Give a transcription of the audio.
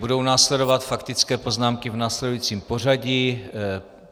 Budou následovat faktické poznámky v následujícím pořadí.